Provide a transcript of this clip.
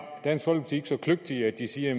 dansk folkeparti ikke så kløgtige at de siger at